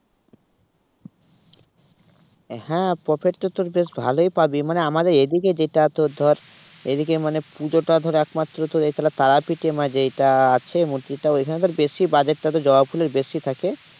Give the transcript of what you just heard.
হ্যাঁ profit তো তোর বেশ ভালোই পাবি মানে আমাদের এদিকে এটা তোর ধর এদিকে মানে পুজোটা ধর একমাত্র এই তাহলে তারাপীঠে এ মানে যেইটা আছে মূর্তিটা ওইখানে তোর বেশি বাজারটা তো বেশি জবা ফুলের বেশি থাকে।